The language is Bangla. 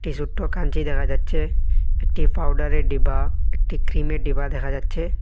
এ ছোট্ট কানটি দেখা যাচ্ছে একটি পাউডারের ডিব্বা একটি ক্রিমের ডিব্বা দেখা যাচ্ছে।